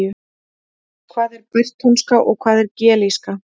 Hvað er bretónska og hvað er gelíska?